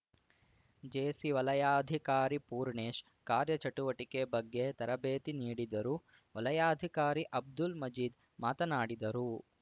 JC ವಲಯಾಧಿಕಾರಿ ಪೂರ್ಣೇಶ್‌ ಕಾರ್ಯ ಚಟುವಟಿಕೆ ಬಗ್ಗೆ ತರಬೇತಿ ನೀಡಿದರು ವಲಯಾಧಿಕಾರಿ ಅಬ್ದುಲ್‌ ಮಜೀದ್‌ ಮಾತನಾಡಿದರು